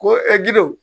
Ko gidon